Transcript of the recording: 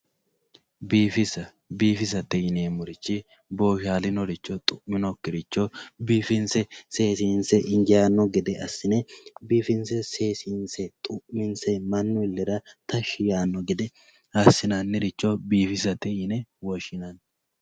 Biifisa biifisa yinemorichi boshalino xuminokiricho biifinse seesinse dancha gede asine loonsanita danchate yinani.